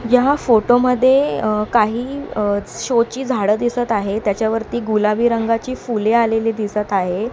यहा फोटोमध्ये काही शो ची झाडं दिसत आहे त्याच्यावरती गुलाबी रंगाची फुले आलेली दिसत आहे.